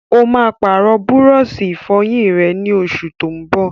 Ó máa pàrọ̀ búrọ́sì-ìfọyín rẹ̀, ní oṣù tó n bọ̀.